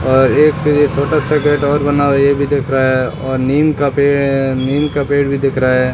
और एक ये छोटा सा घर और बना हुआ है ये भी दिख रहा है और नीम का पेड़ है नीम का पेड़ भी दिख रहा है।